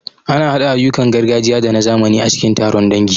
Ana haɗa ayyukan gargajiya da na zamani a cikin taron dangi.